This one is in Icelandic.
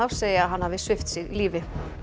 segja að hann hafi svipt sig lífi